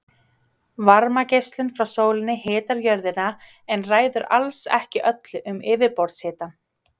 Varmageislun frá sólinni hitar jörðina en ræður alls ekki öllu um yfirborðshitann.